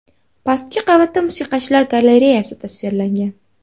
Pastki qavatda musiqachilar galareyasi tasvirlangan.